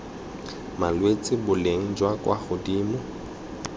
malwetse boleng jwa kwa godimo